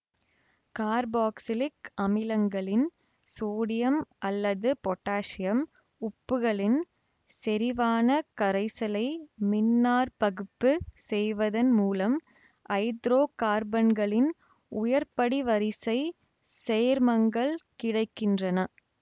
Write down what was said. carboxylic அமிலங்களின் sodium அல்லது potassium உப்புகளின் செறிவான கரைசலை மின்னாற்பகுப்பு செய்வதன் மூலம் ஐதரோ கார்பன்களின் உயர்படிவரிசைச் சேர்மங்கள் கிடை கின்றன